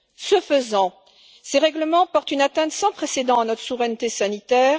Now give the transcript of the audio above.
Ce faisant, ces règlements portent une atteinte sans précédent à notre souveraineté sanitaire.